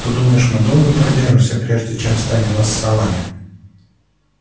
ты думаешь мы долго продержимся прежде чем станем вассалами